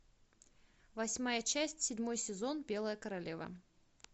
восьмая часть седьмой сезон белая королева